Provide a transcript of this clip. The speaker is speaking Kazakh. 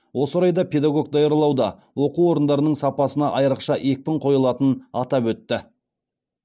осы орайда педагог даярлауда оқу орындарының сапасына айрықша екпін қойылатынын атап өтті